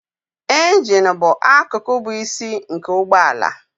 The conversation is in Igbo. Injin bụ akụkụ bụ isi nke ụgbọ ala